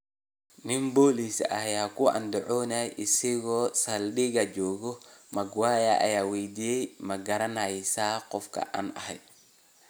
Nin booliis ah ayaa ku andacoodey in isagoo saldhiga jooga: Maguire ayaa weydiiyey "Ma garanaysaa qofka aan ahay?